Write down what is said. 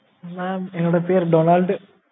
mam என்னோட பேரு Donald